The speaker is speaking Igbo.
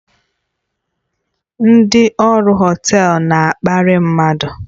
Ndị ọrụ họtel na-akparị mmadụ